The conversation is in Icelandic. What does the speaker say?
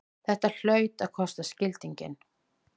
Þetta hlaut að kosta skildinginn!